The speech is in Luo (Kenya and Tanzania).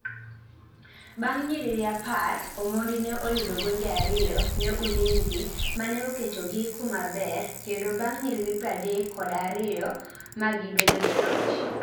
bang nyiriri apr omondi ne oyudogonde ariyo ne Ulinzi mane oketo gikumaber kendo bang nyiriri pradek kod ariyo magibedojoloch